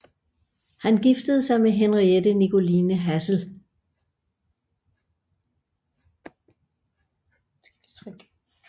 Han giftede sig med Henriette Nicoline Hassel